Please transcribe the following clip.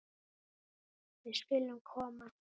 Við skulum koma!